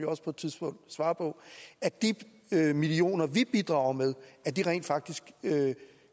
også på et tidspunkt svare på at de millioner vi bidrager med rent faktisk